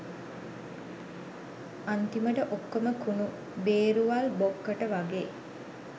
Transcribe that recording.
අන්තිමට ඔක්කොම කුණු බේරුවල් බොක්කට වගෙ